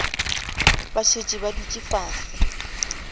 ba šetše ba dutše fase